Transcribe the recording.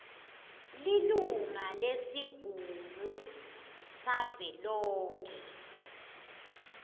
lilunga lesigungu savelonkhe